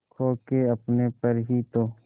खो के अपने पर ही तो